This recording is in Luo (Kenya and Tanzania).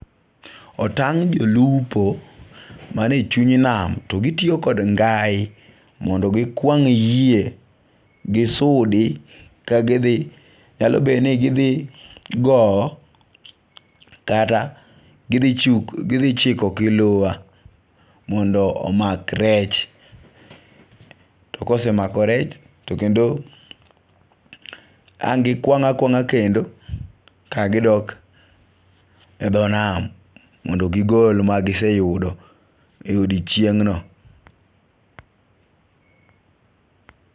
Otang' jolupo man e chuny nam. To gitiyo kod ngai mondo gikwang' yie. Kisudi ka gi dhi. Nyalo bed ni gidhi gow kata gidhi chiko gi luwa mondo omak rech. To kosemako rech to kendo ang' gikwang' akwang'a kendo kagidok e dho nam mondo gigol magiseyudo e odichieng' no.